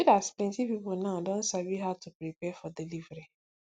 e good as plenty people now don sabi how to prepare for delivery